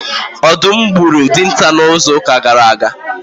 Ọdụm dogburu Dịnta na izu uka gara aga